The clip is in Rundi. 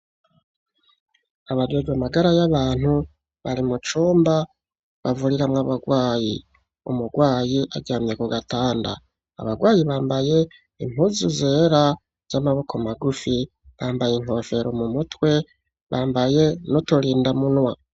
Abajejwe amagara y'abantu, bari mu cumba bavuriramwo abagwayi; umugwayi aryamye ku gatanda; abagwayi bambaye impuzu zera, z'amaboko magufi, bambaye inkofero mu mutwe, bambaye n'uturindamunwa.